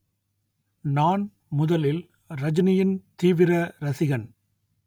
நான் முதலில் ரஜினியின் தீவிர ரசிகன்